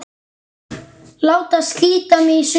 Láta slíta mig í sundur.